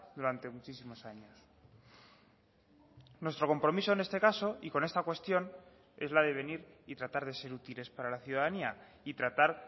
durante muchísimos años nuestro compromiso en este caso y con esta cuestión es la de venir y tratar de ser útiles para la ciudadanía y tratar